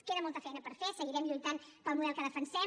queda molta feina per fer seguirem lluitant pel model que defensem